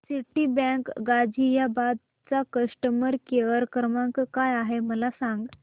Citibank Ghaziabad चा customer care क्रमांक काय आहे मला सांग